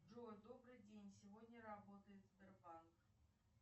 джой добрый день сегодня работает сбербанк